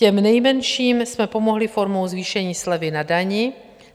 Těm nejmenším jsme pomohli formou zvýšení slevy na dani.